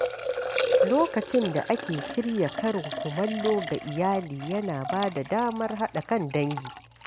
Lokacin da ake shirya karin kumallo ga iyali yana ba da damar haɗa kan dangi.